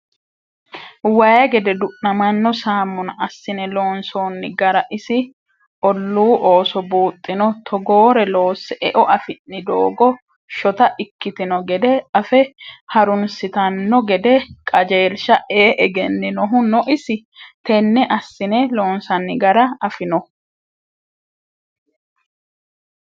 Waayi gede du'namano samuna assine loonsonni gara isi ollu ooso buuxino, togoore loosse eo affi'ni doogo shotta ikkitino gede afe harunsittano gede qajeelsha ee egeninohu no isi tene assine loonsanni gara afinohu ?